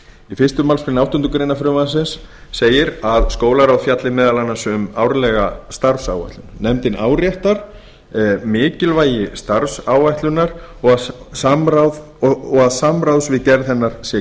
fyrstu málsgrein áttundu greinar frumvarpsins segir að skólaráð fjalli meðal annars um árlega starfsáætlun nefndin áréttar mikilvægi starfsáætlunar og að samráðs við gerð hennar sé